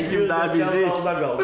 Heç kim də bizi burdan qala qoymaz.